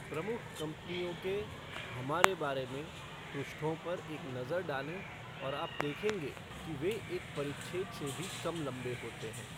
प्रमुख कंपनियों के 'हमारे बारे में' पृष्ठों पर एक नज़र डालें और आप देखेंगे कि वे एक परिच्छेद से भी कम लंबे होते हैं।